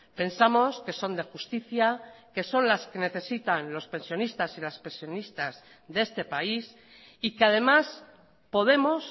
pensamos que son de justicia que son las que necesitan los pensionistas y las pensionistas de este país y que además podemos